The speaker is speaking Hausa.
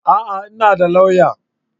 A'a! Ina da lauya